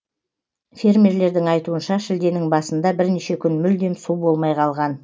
фермерлердің айтуынша шілденің басында бірнеше күн мүлдем су болмай қалған